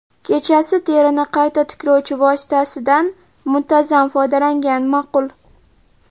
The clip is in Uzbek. Kechasi terini qayta tiklovchi vositasidan muntazam foydalangan ma’qul.